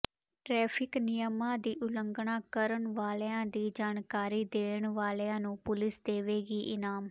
traffic ਨਿਯਮਾਂ ਦੀ ਉਲੰਘਣਾ ਕਰਨ ਵਾਲਿਆਂ ਦੀ ਜਾਣਕਾਰੀ ਦੇਣ ਵਾਲਿਆਂ ਨੂੰ ਪੁਲਿਸ ਦੇਵੇਗੀ ਇਨਾਮ